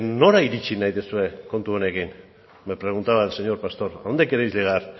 nora iritsi nahi duzue kontu honekin me preguntaba el señor pastor a dónde queréis llegar